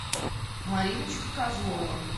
мариночка козлова